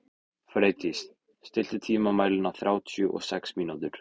Freydís, stilltu tímamælinn á þrjátíu og sex mínútur.